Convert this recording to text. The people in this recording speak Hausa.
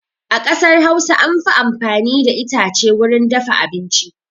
A ƙasar Hausa an fi amfani da itace wurin dafa abinci.